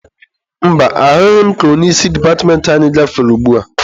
Mba, ahụghị m ka onye isi departmentị anyị gafere ugbua.